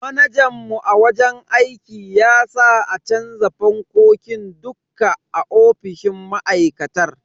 Manajan mu a wajen aiki ya sa a canza fankokin dukka ofisoshin ma'aikatar.